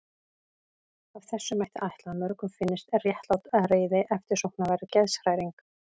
Af þessu mætti ætla að mörgum finnist réttlát reiði eftirsóknarverð geðshræring.